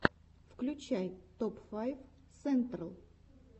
включай топ файв сентрал